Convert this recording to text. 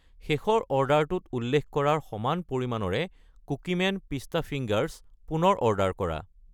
শেষৰ অৰ্ডাৰটোত উল্লেখ কৰাৰ সমান পৰিমাণৰে কুকিমেন পিষ্টা ফিংগাৰছ পুনৰ অৰ্ডাৰ কৰা।